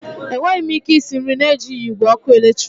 Enweghị m ike isi nri na-ejighi igwe ọkụ eletrik.